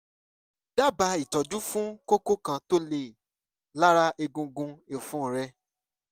dábàá ìtọ́jú fún kókó kan tó le lára egungun ọ̀fun rẹ̀